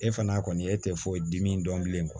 E fana kɔni e tɛ foyi dimi dɔn bilen kɔ